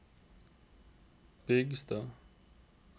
Bygstad